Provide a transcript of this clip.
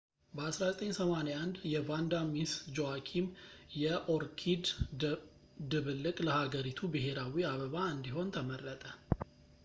በ1981 የቫንዳ ሚስ ጁዋኪም የኦርኪድ ድብልቅ ለሃገሪቱ ብሔራዊ አበባ እንዲሆን ተመረጠ